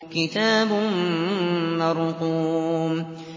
كِتَابٌ مَّرْقُومٌ